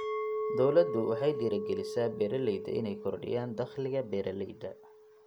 Dawladdu waxay dhiirigelisaa beeralayda inay kordhiyaan dakhliga beeralayda.